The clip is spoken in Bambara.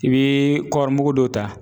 I bi kɔɔrimugu dɔ ta